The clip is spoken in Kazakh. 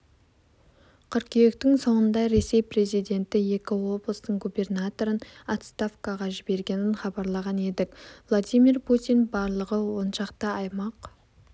қыркүйектің соңында ресей президенті екі облыстың губернаторын отставкаға жібергенін хабарлаған едік владимир путин барлығы оншақты аймақ